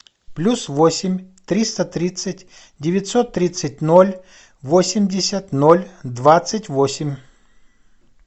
плюс восемь триста тридцать девятьсот тридцать ноль восемьдесят ноль двадцать восемь